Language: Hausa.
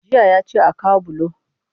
Jiya ya ce a kawo bulo